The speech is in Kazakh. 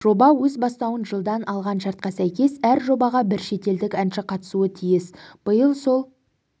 жоба өз бастауын жылдан алған шартқа сәйкес әр жобаға бір шетелдік әнші қатысуы тиіс биыл сол